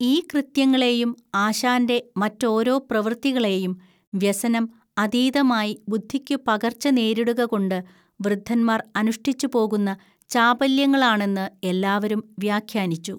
ഈ കൃത്യങ്ങളെയും ആശാന്റെ മറ്റോരോ പ്രവൃത്തികളെയും വ്യസനം അതീതമായി ബുദ്ധിക്കു പകർച്ച നേരിടുകകൊണ്ട് വൃദ്ധന്മാർ അനുഷ്ഠിച്ചുപോകുന്ന ചാപല്യങ്ങളാണെന്ന് എല്ലാവരും വ്യാഖ്യാനിച്ചു